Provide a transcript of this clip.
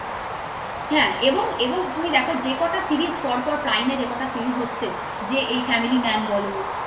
হ্যাঁ এবং এবং তুমি দেখো যে কটা series পর পর prime যে কটা series হচ্ছে যে family man বলো